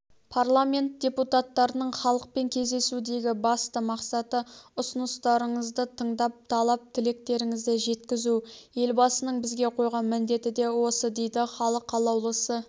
парламент депутаттарының халықпен кездесудегі басты мақсаты ұсыныстарыңызды тыңдап талап тілектеріңізді жеткізу елбасының бізге қойған міндеті де осы дейді халық қалаулысы